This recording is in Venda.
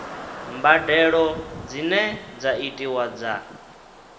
mbadelo dzine dza itiwa dza